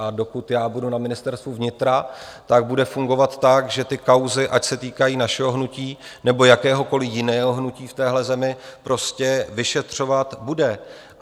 A dokud já budu na Ministerstvu vnitra, tak bude fungovat tak, že ty kauzy, ať se týkají našeho hnutí, nebo jakéhokoliv jiného hnutí v téhle zemi, prostě vyšetřovat bude.